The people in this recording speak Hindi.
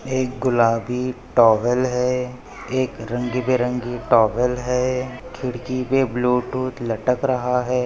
एक गुलाबी टॉवेल है एक रंगीबेरंगी टॉवेल है खिड़की पे ब्लुटूथ लटक रहा है।